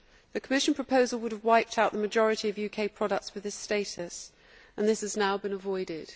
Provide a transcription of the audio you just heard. The Commission proposal would have wiped out the majority of UK products with this status and this has now been avoided.